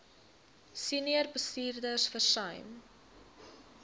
senior bestuurders versuim